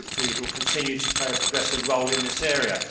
Hopefully, he will continue to play a progressive role in this area.